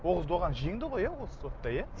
оғыз доған жеңді ғой иә осы сотта иә